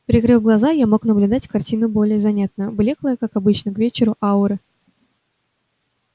прикрыв глаза я мог наблюдать картину более занятную блёклые как обычно к вечеру ауры